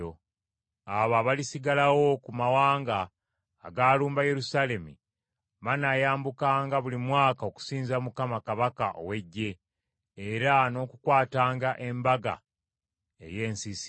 Abo abalisigalawo ku mawanga agaalumba Yerusaalemi banaayambukanga buli mwaka okusinza Mukama kabaka ow’Eggye era n’okukwatanga embaga ey’ensiisira.